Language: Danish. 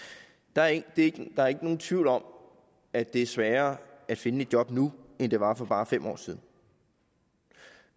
der er ikke nogen tvivl om at det er sværere at finde et job nu end det var for bare fem år siden